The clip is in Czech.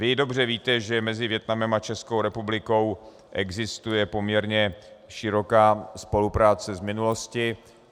Vy dobře víte, že mezi Vietnamem a Českou republikou existuje poměrně široká spolupráce z minulosti.